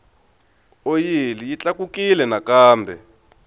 oyili yi tlakukile nakambe